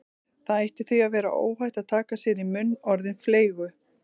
Það ætti því að vera óhætt að taka sér í munn orðin fleygu